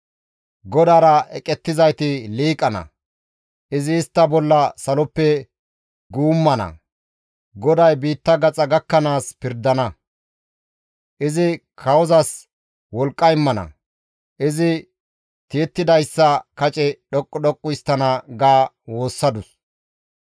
GODAARA eqettizayti liiqana; izi istta bolla saloppe guummana; GODAY biitta gaxa gakkanaas pirdana; Izi kawozas wolqqa immana; izi tiyettidayssa kace dhoqqu dhoqqu histtana» ga woossadus.